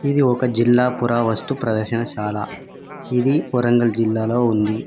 ఇది ఒక జిల్లా పురావస్తు ప్రదర్శనశాల ఇది వరంగల్ జిల్లాలో ఉంది.